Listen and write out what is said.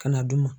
Ka na d'u ma